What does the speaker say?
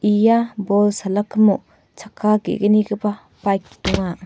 ia bol salakimo chakka ge·gnigipa baik donga.